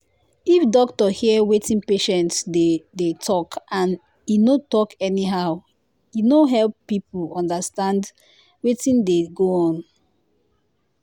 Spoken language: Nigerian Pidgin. if doctor hear wetin patient dey dey talk and and en no talk anyhow e go help everybody understand wetin dey go on.